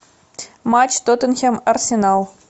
матч тоттенхэм арсенал